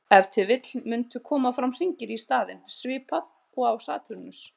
Ef til vill mundu koma fram hringir í staðinn, svipað og á Satúrnusi.